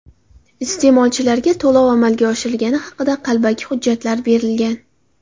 Iste’molchilarga to‘lov amalga oshirilgani haqida qalbaki hujjatlar berilgan.